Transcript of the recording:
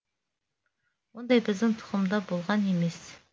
ондай біздің тұқымда болған емес